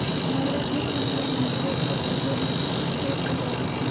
नवरात्र के लिए मंदिरों को भव्य रूप से सजाया